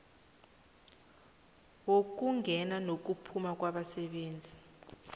wokungena nokuphuma kwabasebenzi